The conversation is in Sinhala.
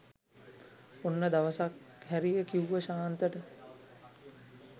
ඔන්න දවසක් හැරිය කිව්ව ශාන්තට